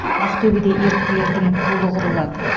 ақтөбеде ерліктердің пулы құрылады